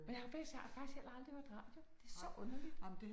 Men jeg har faktisk jeg har faktisk heller aldrig hørt radio det så underligt